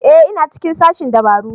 Ee ina cikin sashen dabaru